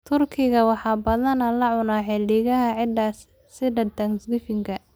Turkiga waxaa badanaa la cunaa xilliyada ciidaha sida Thanksgivingka.